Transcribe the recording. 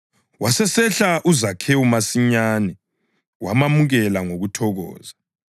Wasesehla uZakhewu masinyane wamamukela ngokuthokoza.